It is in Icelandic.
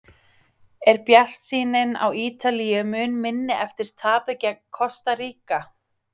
Er bjartsýnin á Ítalíu mun minni eftir tapið gegn Kosta Ríka?